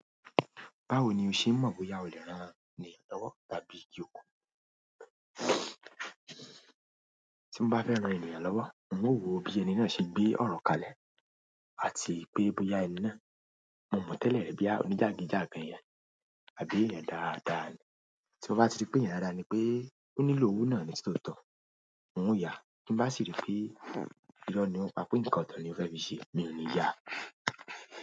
Báwo ni o ṣe n mọ̀ bóyá o lè rán ènìyàn lọ́wọ́ tàbí yòókù? Tí mo bá fẹ́ ran ènìyàn lọ́wọ́, ń o wò bí ẹni náà ṣe gbé ọ̀rọ̀ kalẹ̀ àti pé bóyá ẹni náà, mo mọ tẹ́lẹ̀ ri boya oníjàgídíjàgan eeyan àbí èeyàn dáadáa ni. Tí mo bá ti rí pé èeyàn dáadaaa ni pé ó nílò owó náà nì tí tóotọ́, n ó yá. Ti n bá sì rí pé irọ́ ni ó ń pa pé nǹkan ọ̀tọ̀ ni ó fẹ́ fi ṣe, mi ò ní yáa.